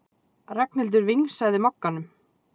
Ragnhildur vingsaði Mogganum.